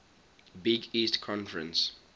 big east conference